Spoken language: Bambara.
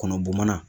Kɔnɔ bɔn mana